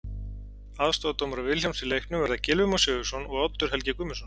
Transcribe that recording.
Aðstoðardómarar Vilhjálms í leiknum verða Gylfi Már Sigurðsson og Oddur Helgi Guðmundsson.